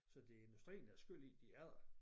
Så det er industrien der er skyld i de er der